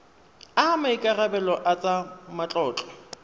a maikarebelo a tsa matlotlo